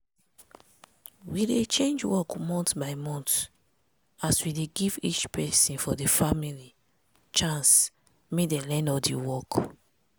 we dey change work month by month as we dey give each peson for di family chance make dem learn all di work.